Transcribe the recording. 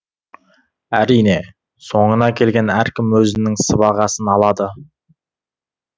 әрине соңына келген әркім өзінің сыбағасын алады